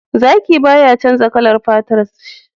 Zaki baya canja kalar fatar shi